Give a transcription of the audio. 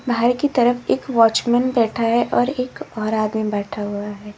बाहर की तरफ एक वॉचमैन बैठा है और एक और आदमी बैठा हुआ है।